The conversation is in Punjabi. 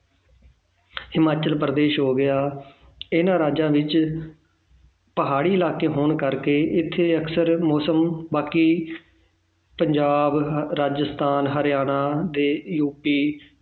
ਹਿਮਾਚਲ ਪ੍ਰਦੇਸ਼ ਹੋ ਗਿਆ ਇਹਨਾਂ ਰਾਜਾਂ ਵਿੱਚ ਪਹਾੜੀ ਇਲਾਕੇ ਹੋਣ ਕਰਕੇ ਇੱਥੇ ਅਕਸਰ ਮੌਸਮ ਬਾਕੀ ਪੰਜਾਬ, ਰਾਜਸਥਾਨ, ਹਰਿਆਣਾ ਤੇ ਯੂਪੀ